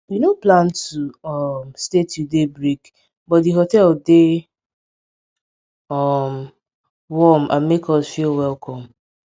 we nor plan to um stay till daybreak but di hotel dey um warm and make us feel welcome